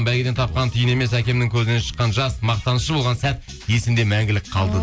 бәйгеден тапқан тиын емес әкемнің көзінен шыққан жас мақтанышы болған сәт есімде мәңгілік қалды